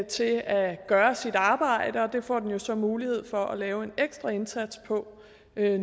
til at gøre sit arbejde og det får den jo så mulighed for at lave en ekstra indsats på